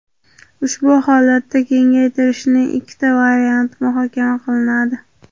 Ushbu holatda kengaytirishning ikkita varianti muhokama qilinadi.